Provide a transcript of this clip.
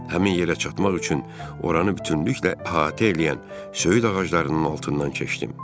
Həmin yerə çatmaq üçün oranı bütünlüklə əhatə eləyən söyüd ağaclarının altından keçdim.